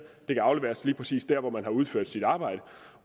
kan afleveres lige præcis der hvor man har udført sit arbejde